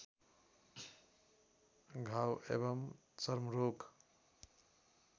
घाउ एवं चर्मरोग